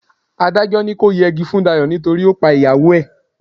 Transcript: Adájọ́ ní kọ́ yẹgi fún Dayọ̀ nítorí ó pa ìyàwó ẹ̀.